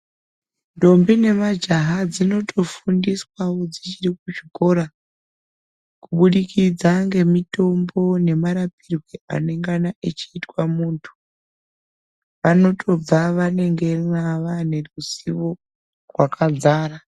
Ndombi nemajaha dzinotofundiswawo dzichiri kuzvikora kubudikidza ngemitombo nemarapirwe anengana achiitwa muntu. Vanotobva vanenge vane rudzivo rwakadzara.